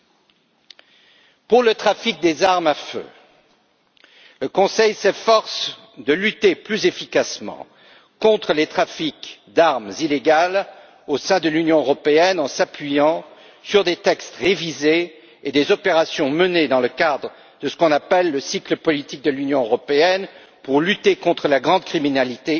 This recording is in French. S'agissant du trafic des armes à feu, le Conseil s'efforce de lutter plus efficacement contre les trafics d'armes illégales, au sein de l'Union européenne, en s'appuyant sur des textes révisés et des opérations menées dans le cadre de ce qu'on appelle le cycle politique de l'Union européenne pour lutter contre la grande criminalité